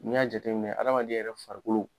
Ni y'a jateminɛ adamaden yɛrɛ farikolo